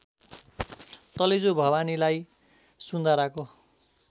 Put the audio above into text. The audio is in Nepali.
तलेजु भवानीलाई सुन्धाराको